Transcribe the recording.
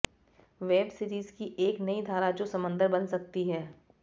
web series की एक नई धारा जो समंदर बन सकती है